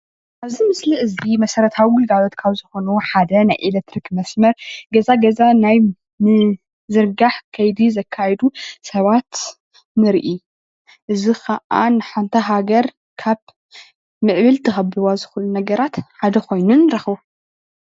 ኣብዚ ምስሊ እዚ መሰረታዊ ግልጋሎት ካብ ዝኮኑ ሓደ ናይ ኤሌትሪክ መስመር ገዛ ገዛ ናይ ምዝርጋሕ ከይዲ ዘካይዱ ሰባት ንርኢ፡፡ እዚ ክዓ ንሓንቲ ሃገር ካብ ንዕቤት ዘክብዎ ነገራት ሓደ ኮይኑ ንረክቦ፡፡